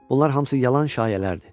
Bunlar hamısı yalan şayiələrdir.